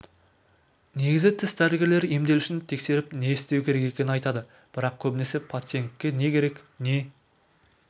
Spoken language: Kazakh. негізі тіс дәрігерлері емделушіні тексеріп не істеу керек екенін айтады бірақ көбінесе пациентке не керек не